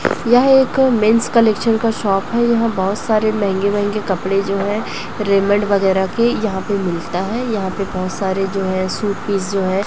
यह एक men's collection का शॉप है यहाँ बोहोत सारे महंगे महंगे कपड़े जो है रेमंड वैगैरा के यहाँ पे मिलता है यहाँ पे बहोत सारे जो है सूट पीस जो है --